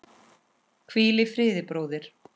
Hvíl í friði, bróðir.